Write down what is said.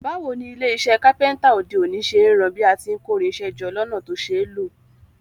Báwoni ilé isẹ́ Kápẹ́ńtà òde òní ṣe n ran bí a ti n kórinsẹ́ jọ lọ́nà to ṣeé lò